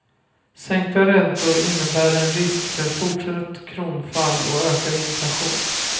Sänkta räntor innebär en risk för fortsatt kronfall och ökad inflation.